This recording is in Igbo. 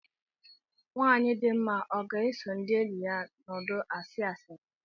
Nwanyị dị mma ọ ga-eso ndị enyi ya nọdụ asị asịrị